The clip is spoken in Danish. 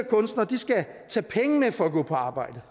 kunstnere skal tage penge med for at gå på arbejde